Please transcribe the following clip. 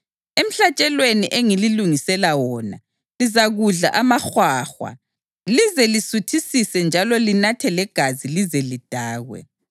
Emhlatshelweni engililungisela wona, lizakudla amahwahwa lize lisuthisise njalo linathe legazi lize lidakwe.